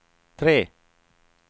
tre